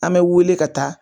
An mɛ wele ka taa